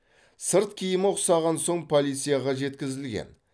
сырт киімі ұқсаған соң полицияға жеткізілген